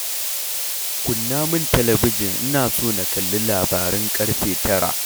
Kunna min talabijin ina son na kalli labaran ƙarfe tara.